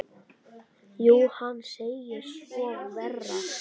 Jú, hann segir svo vera.